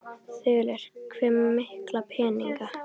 Þulur: Hve mikla peninga?